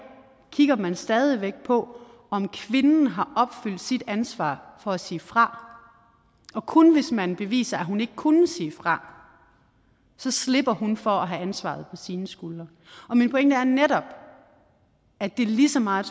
kigger man stadig væk på om kvinden har opfyldt sit ansvar for at sige fra og kun hvis man beviser at hun ikke kunne sige fra slipper hun for at have ansvaret på sine skuldre min pointe er netop at det lige så meget